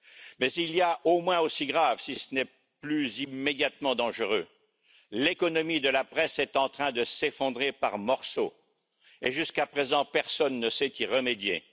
Mais il y a au moins aussi grave, si ce n'est plus immédiatement dangereux, l'économie de la presse est en train de s'effondrer par morceaux et, jusqu'à présent, personne ne sait y remédier.